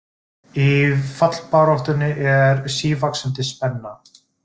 Í fallbaráttunni er sívaxandi spenna